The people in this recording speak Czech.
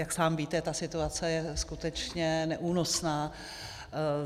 Jak sám víte, ta situace je skutečně neúnosná.